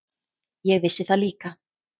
Ég vissi það líka.